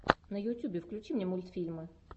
на ютюбе включи мне мультфильмы